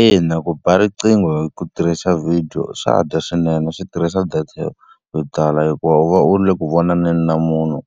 Ina ku ba riqingho hi ku tirhisa video swa dya swinene swi tirhisa data yo yo tala, hikuva u va u ri le ku vonaneni na munhu